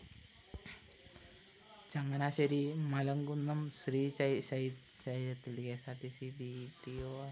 ചങ്ങനാശ്ശേരി മലകുന്നം ശ്രീശൈലത്തില്‍ K S R T C D T O ആയി വിരമിച്ച എം